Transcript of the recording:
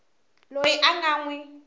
loyi a nga n wi